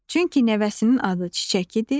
Çünki nəvəsinin adı Çiçək idi.